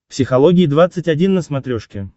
психология двадцать один на смотрешке